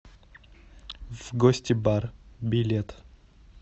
вгостибар билет